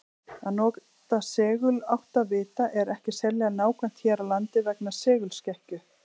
Að nota seguláttavita er ekki sérlega nákvæmt hér á landi vegna segulskekkju.